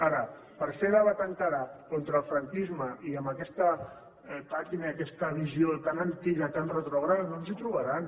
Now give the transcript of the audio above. ara per fer debat encara contra el franquisme i amb aquesta pàtina i aquesta visió tan antiga tan retrògrada no ens hi trobaran